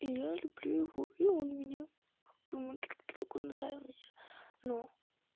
и я люблю его и он меня как бы мы друг другу нравимся но